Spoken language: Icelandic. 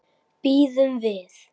Bíðum við.